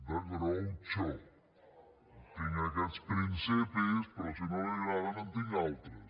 de groucho tinc aquests principis però si no li agraden en tinc d’altres